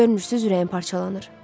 Görmürsünüz ürəyim parçalanır?